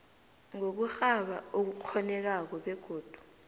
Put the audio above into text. ngokurhaba okukghonekako begodu